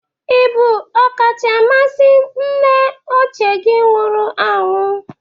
Ị bụ ọkachamasị nna ochie gi nwụrụ anwụ?